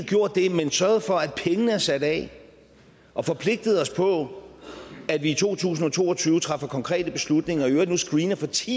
sørget for at pengene er sat af og forpligtet os på at vi i to tusind og to og tyve træffer konkrete beslutninger og i øvrigt nu screener for ti